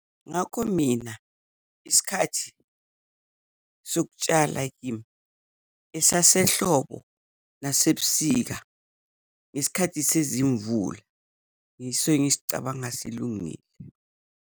Ngakho mina isikhathi sokutshala kimi esasehlobo nasebusika, ngesikhathi sezimvula yiso engisicabanga silungile.